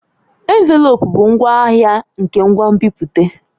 Envelopu bụ ngwaahịa nke ngwa nbipute.